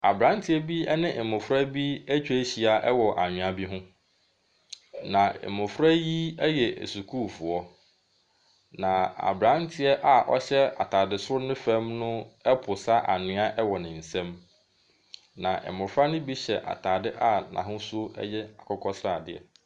Abranteɛ bi ne mmofra atwa ahyia wɔ anwea bi ho. Na mmofra yi yɛ sukuufoɔ. Na abranteɛ a ɛhyɛ ataade soro ne fam reposa anwea wɔ nsam. Na mmofra no bi hyɛ ataade a n'ahosu yɛ akokɔsradeɛ.